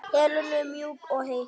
Helenu mjúk og heit.